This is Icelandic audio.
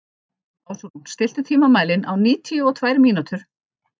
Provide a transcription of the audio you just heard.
Ásrún, stilltu tímamælinn á níutíu og tvær mínútur.